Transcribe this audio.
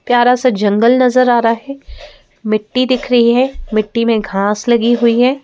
प्यारा सा जंगल नजर आ रहा है मिट्टी दिख रही है मिट्टी में घास लगी हुई है।